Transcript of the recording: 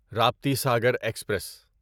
Raptisagar express